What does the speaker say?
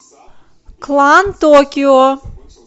клан токио